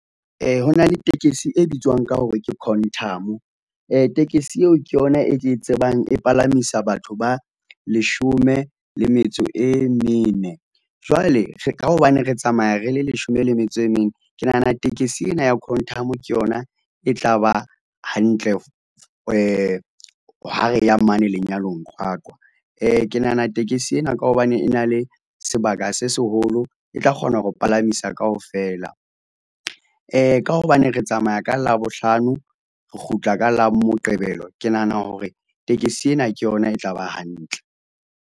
Ho na le tekesi e bitswang ka hore ke Quantum, tekesi eo ke yona e ke e tsebang e palamisa batho ba leshome le metso e mene jwale ka hobane re tsamaya re le leshome le metso e mene. Ke nahana tekesi ena ya Quantum ke yona e tla ba hantle , ha re ya mane lenyalong Qwaqwa, Ke nahana tekesi ena ka hobane e na le sebaka se seholo e tla kgona ho palamisa kaofela. Ka hobane re tsamaya ka labohlano, re kgutla ka la Moqebelo ke nahana hore tekesi ena ke yona e tla ba hantle.